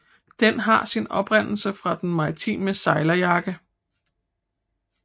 Den har sin oprindelse fra den maritime sejlerjakke